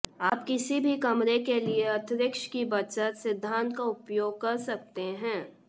आप किसी भी कमरे के लिए अंतरिक्ष की बचत सिद्धांत का उपयोग कर सकते हैं